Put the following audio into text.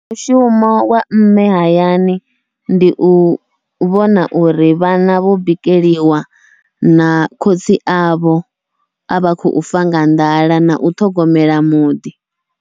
Mushumo wa mme hayani ndi u vhona uri vhana vho bikeliwa na khotsi avho avha khou fa nga nḓala, nau ṱhogomela muḓi.